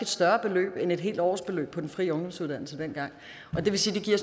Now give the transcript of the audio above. større beløb end et helt årsbeløb på den fri ungdomsuddannelse dengang det vil sige